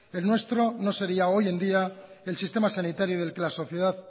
el nuestro no sería hoy en día el sistema sanitario del que la sociedad